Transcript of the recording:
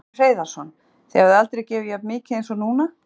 Magnús Hlynur Hreiðarsson: Þið hafið aldrei gefið jafn mikið eins og núna?